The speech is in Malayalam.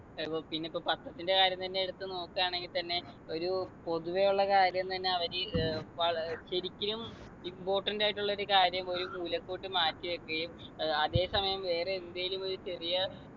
അപ്പൊ പിന്നിപ്പൊ പത്രത്തിൻ്റെ കാര്യം തന്നെ എടുത്തു നോക്കുവാണെങ്കി തന്നെ ഒരു പൊതുവെയുള്ള കാര്യം തന്നെ അവര് ഏർ വള് ശരിക്കിനും important ആയിട്ടുള്ളൊരു കാര്യം ഒരു മൂലക്കോട്ട് മാറ്റി വെക്കുകയും ഏർ അതെ സമയം വേറെ എന്തേലും ഒരു ചെറിയ